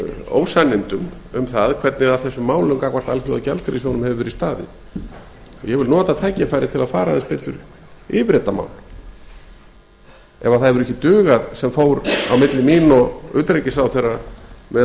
ósannindum um það hvernig að þessum málum gagnvart alþjóðagjaldeyrissjóðnum hefur verið staðið ég vil nota tækifærið til að fara aðeins betur yfir þetta mál ef það hefur ekki dugað sem fór á milli mín og utanríkisráðherra með